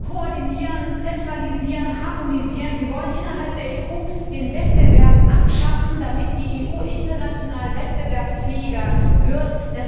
Koordinieren, zentralisieren, harmonisieren Sie wollen innerhalb der EU den Wettbewerb abschaffen, damit die EU international wettbewerbsfähiger wird.